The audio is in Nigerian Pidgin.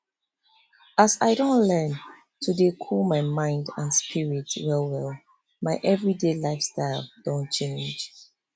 as i don learn to dey cool my mind and spirit well well my everyday lifestyle don change